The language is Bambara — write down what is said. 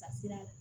Ka siran